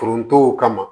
Forontow kama